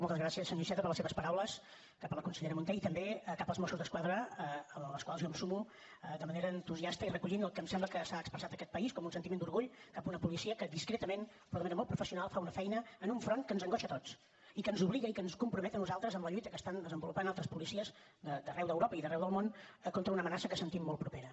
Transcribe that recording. moltes gràcies senyor iceta per les seves paraules cap a la consellera munté i també cap als mossos d’esquadra a les quals jo em sumo de manera entusiasta i recollint el que em sembla que s’ha expressat a aquest país com un sentiment d’orgull cap a una policia que discretament però de manera molt professional fa una feina en un front que ens angoixa a tots i que ens obliga i que ens compromet a nosaltres amb la lluita que estan desenvolupat altres policies d’arreu d’europa i d’arreu del món contra una amenaça que sentim molt propera